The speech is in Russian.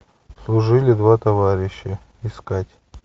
служили два товарища искать